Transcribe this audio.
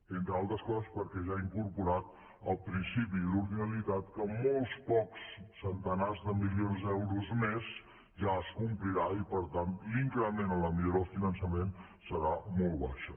entre altres coses perquè ja ha incorporat el principi d’ordinalitat que amb molts pocs centenars de milions d’euros més ja es complirà i per tant l’increment en la millora del finançament serà molt baixa